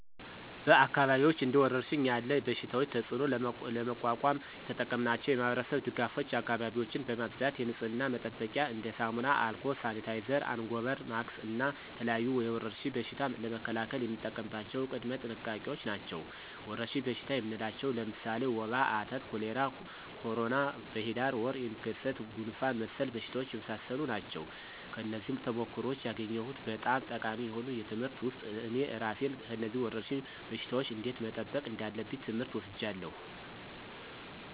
በአካባቢዎች እንደ ወረርሽኝ ያለ በሽታቸው ተፅእኖ ለመቋቋም የተጠቀምናቸው የማህበረሰብ ድጋፎች አካባቢዎችን በማፅዳት የንፅህና መጠበቂያ እንደ ሳሙና፣ አልኮል፣ ሳኒታይዘር፣ አንጎበር፣ ማክስ እና የተለያዩ የወረርሽኝ በሽታ ለመከላከል የምንጠቀምባቸው ቅድመ ጥንቃቄዎች ናቸው። ወረርሽኝ በሽታ የምንላቸው ለምሳሌ ወባ፣ አተት፣ ኮሌራ፣ ኮሮና፣ በሂዳር ወር የሚከሰት ጉንፍን መሰል በሽታዎች የመሳሰሉ ናቸው። ከነዚህም ተሞክሮዎች ያገኘሁት በጣም ጠቃሚ የሆኑ ትምህርት ውስጥ እኔ እራሴን ከነዚህ ወረርሽኝ በሽታወች እንዴት መጠበቅ እንዳለብኝ ትምህር ወስጃለሁ።